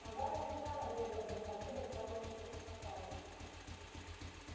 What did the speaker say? но гарри не терял надежды выбраться отсюда в целости и сохранности